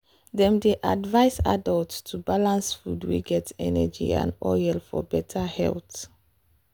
dem dey advise adults to balance food wey get energy and oil for better health.